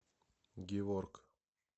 геворг